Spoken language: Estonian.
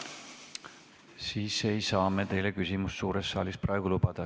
Siis ei saa me teile küsimisvõimalust suures saalis praegu lubada.